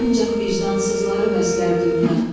Ancaq vicdansızları bəslər dünya.